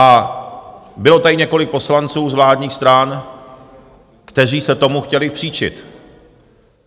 A bylo tady několik poslanců z vládních stran, kteří se tomu chtěli příčit.